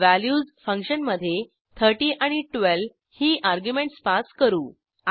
values फंक्शनमधे 30 आणि 12 ही अर्ग्युमेंटस पास करू